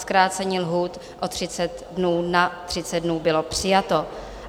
Zkrácení lhůt o 30 dnů na 30 dnů bylo přijato.